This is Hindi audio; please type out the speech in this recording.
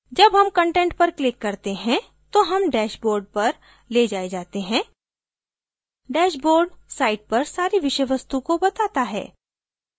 जब हम content पर click करते हैं तो हम dashboard पर lays जाये जाते हैं dashboard site पर सारी विषय वस्तु को बताता है